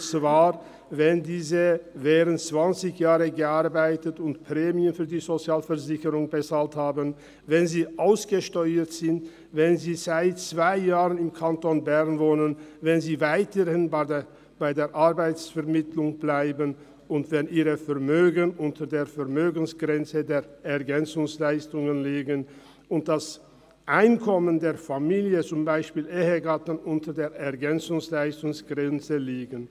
Demnach erhalten die über 55-Jährigen dann Unterstützung, wenn sie während zwanzig Jahren gearbeitet und Prämien für die Sozialversicherungen bezahlt haben, wenn sie ausgesteuert sind, wenn sie seit zwei Jahren im Kanton Bern wohnen, wenn sie weiterhin bei der Arbeitsvermittlung bleiben, wenn ihr Vermögen unter der Vermögensfreigrenze des Bundesgesetzes über Ergänzungsleistungen zur Alters-, Hinterlassenen- und Invalidenversicherung (ELG) liegt und wenn das Einkommen der Familie, beispielsweise jenes des Ehegatten, unter der ELGGrenze liegt.